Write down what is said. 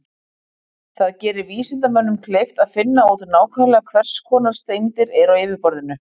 Það gerir vísindamönnum kleift að finna út nákvæmlega hvers konar steindir eru á yfirborðinu.